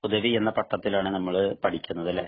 ഹുദവി എന്ന പട്ടത്തിനാണ് നമ്മള് പഠിക്കുന്നത് അല്ലേ.